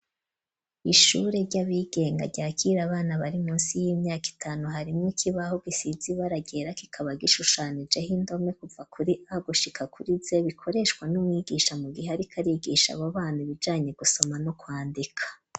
Ishure, ry'abigenga, ryakira abana, bari munsi y'imyaka itanu; harimwo ikibaho, gisize ibara ryera, kikaba, gishushanijeho indome, kuva kuri A, gushika kuri Z, bikoreshwa n'umwigisha, mu gihe ariko, arigisha abo bana, ibijanye gusoma, no kwandika.